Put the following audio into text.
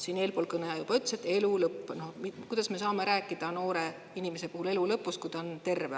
Siin eelpool kõneleja juba ütles, et elu lõpp – kuidas me saame rääkida noore inimese puhul elu lõpust, kui ta on terve.